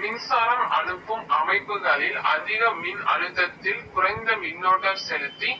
மின்சாரம் அனுப்பும் அமைப்புகளில் அதிக மின் அழுதத்தில் குறைந்த மீன்னோட்டம் செலுத்தி